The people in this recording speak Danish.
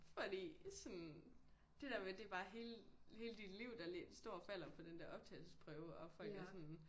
Fordi sådan det der med det bare hele hele dit liv der står og falder på den der optagelsesprøve og folk er sådan